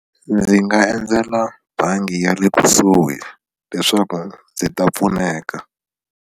Ndzi nga endzela bangi ya le kusuhi leswaku ndzi ta pfuneka.